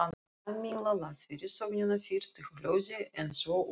Kamilla las fyrirsögnina fyrst í hljóði en svo upphátt.